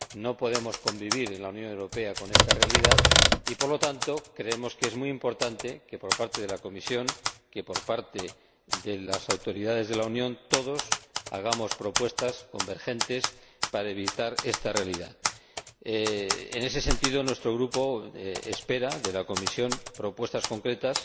No podemos convivir en la Unión Europea con esta realidad y, por lo tanto, creemos que es muy importante que la Comisión, que las autoridades de la Unión, que todos hagamos propuestas convergentes para evitar esta realidad. En ese sentido, nuestro Grupo espera de la Comisión propuestas concretas